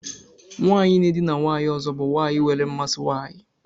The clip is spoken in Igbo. Nwanyị na-edina nwanyị ọzọ bụ nwanyị nwere mmasị nwanyị.